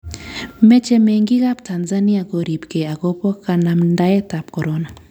Meche mengiik ab Tansania koribkei akobo kanamdaet ab Korona